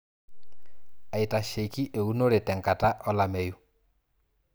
aitasheiki eunore te nkata olameyu